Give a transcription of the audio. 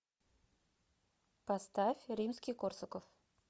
поставь римский корсаков